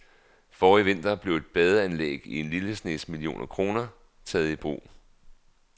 Forrige vinter blev et badeanlæg til en lille snes millioner kroner taget i brug.